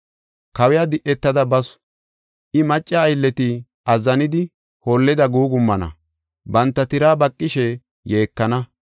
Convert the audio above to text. Kawiya di7etada basu; I macca aylleti azzanidi holleda guugumana; banta tiraa baqishe yeekana.